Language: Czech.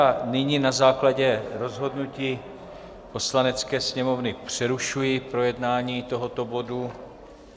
A nyní na základě rozhodnutí Poslanecké sněmovny přerušuji projednávání tohoto bodu.